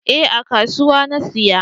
Eh a kasuwan na siya